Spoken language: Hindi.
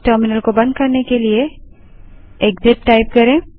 इस टर्मिनल को बंद करने के लिए एक्सिट टाइप करें